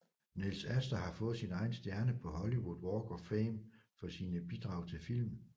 Nils Asther har fået sin egen stjerne på Hollywood Walk of Fame for sine bidrag til film